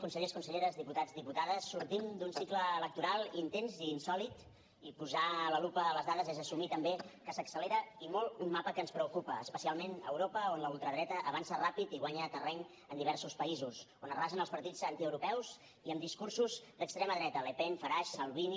consellers conselleres diputats diputades sortim d’un cicle electoral intens i insòlit i posar la lupa a les dades és assumir també que s’accelera i molt un mapa que ens preocupa especialment a europa on la ultradreta avança ràpid i guanya terreny en diversos països on arrasen els partits antieuropeus i amb discursos d’extrema dreta le pen farage salvini